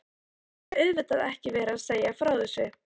Ég mátti auðvitað ekki vera að segja frá þessu.